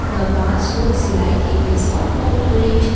the path looks like it is of concrete.